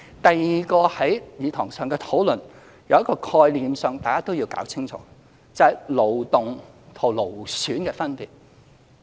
第二，在議事堂的討論中，有一個概念大家都要搞清楚，就是勞動與勞損的分別。